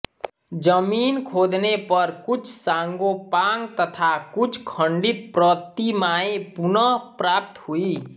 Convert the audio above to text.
जमीन खोदने पर कुछ सांगोपांग तथा कुछ खण्डित प्रतिमाएं पुनः प्राप्त हुई